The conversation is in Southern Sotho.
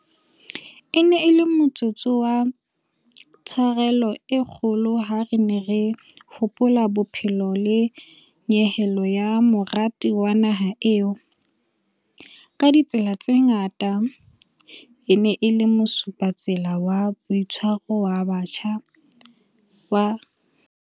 E ne e le motsotso wa tsharelo e kgolo ha re ne re hopola bophelo le nyehelo ya morati wa naha eo, ka ditsela tse ngata, e neng e le mosupatsela wa boitshwaro wa setjhaba sa rona.